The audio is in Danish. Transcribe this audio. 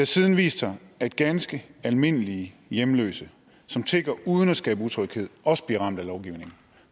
siden vist sig at ganske almindelige hjemløse som tigger uden at skabe utryghed også bliver ramt af lovgivningen